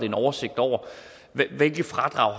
en oversigt over hvilke fradrag